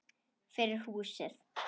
Fyrir húsið.